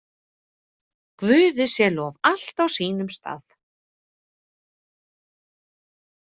Guði sé lof, allt á sínum stað.